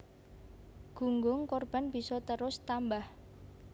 Gunggung korban bisa terus tambah